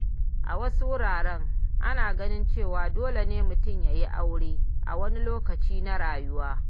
A wasu wurare, ana ganin cewa dole ne mutum ya yi aure a wani lokaci na rayuwa.